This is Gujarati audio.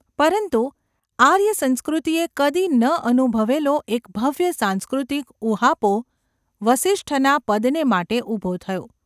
પરંતુ આર્યસંસ્કૃતિએ કદી ન અનુભવેલો એક ભવ્ય સાંસ્કૃતિક ઊહાપોહ વસિષ્ઠના પદને માટે ઊભો થયો.